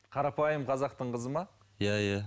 қарапайым қазақтың қызы ма иә иә